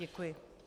Děkuji.